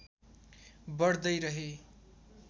बढ़्दै रहे